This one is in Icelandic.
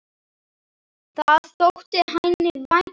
Það þótti henni vænt um.